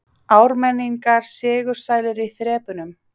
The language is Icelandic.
Ármenningar sigursælir í þrepunum